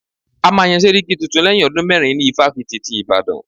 A máa yán sẹ́ríkí tuntun lẹ́yìn ọdún mérin ní ifáfitì ti Ìbàdàn.